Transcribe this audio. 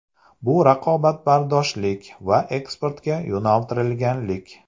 Bu raqobatbardoshlik va eksportga yo‘naltirilganlik.